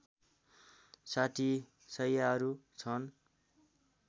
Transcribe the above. ६० शैयाहरू छन्